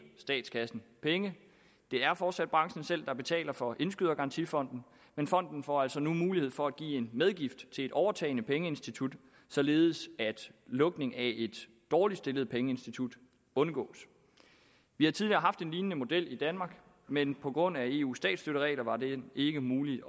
statskassen penge det er fortsat branchen selv der betaler for indskydergarantifonden men fonden får altså nu mulighed for at give en medgift til et overtagende pengeinstitut således at lukning af et dårligt stillet pengeinstitut undgås vi har tidligere haft en lignende model i danmark men på grund af eus statsstøtteregler var det ikke muligt